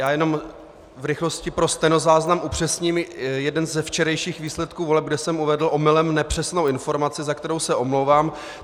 Já jenom v rychlosti pro stenozáznam upřesním jeden ze včerejších výsledků voleb, kde jsem uvedl omylem nepřesnou informaci, za kterou se omlouvám.